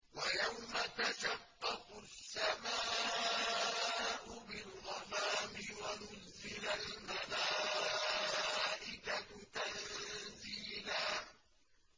وَيَوْمَ تَشَقَّقُ السَّمَاءُ بِالْغَمَامِ وَنُزِّلَ الْمَلَائِكَةُ تَنزِيلًا